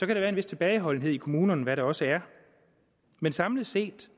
der være en vis tilbageholdenhed i kommunerne hvad der også er men samlet set